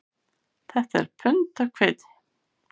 Þetta er pund af hveiti